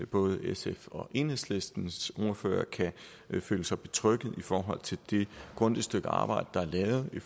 både sfs og enhedslistens ordfører kan føle sig betrygget i forhold til det grundige stykke arbejde der er lavet i